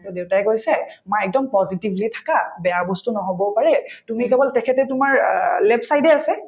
to দেউতাই কৈছে মা একদম positively থাকা বেয়া বস্তু নহবও পাৰে তুমি কেৱল তেখেতে তোমাৰ অ left side য়ে আছে